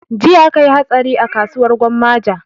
Jiya akayi hatsari a kasuwar gwammaja